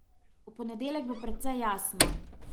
V ponedeljek bo precej jasno.